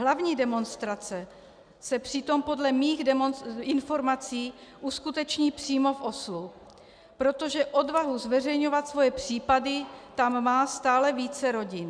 Hlavní demonstrace se přitom podle mých informací uskuteční přímo v Oslu, protože odvahu zveřejňovat svoje případy tam má stále více rodin.